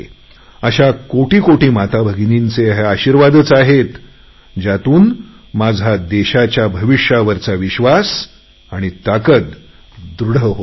अशा कोटी कोटी माताभगिनींचे हे आशिर्वादच आहेत ज्यातून माझा देशाच्या भविष्यावरचा विश्वास दृढ होत जातो